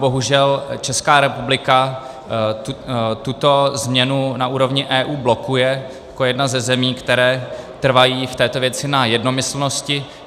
Bohužel Česká republika tuto změnu na úrovni EU blokuje jako jedna ze zemí, které trvají v této věci na jednomyslnosti.